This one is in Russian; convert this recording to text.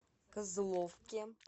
козловке